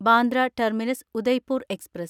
Bandra terminus Udaipur express